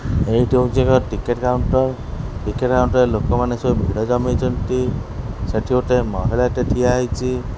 ଏଇଠି ହଉଚି ଏକ ଟିକେଟ୍ କାଉଣ୍ଟର୍ ଟିକେଟ୍ କାଉଣ୍ଟର ରେ ଲୋକମାନେ ସବୁ ଭିଡ଼ ଜମେଇଚନ୍ତି ସେଠି ଗୋଟେ ମହିଳାଟେ ଠିଆ ହେଇଚି ।